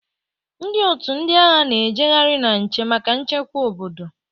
Ndị otu ndị agha na-ejeghari na nche maka nchekwa obodo.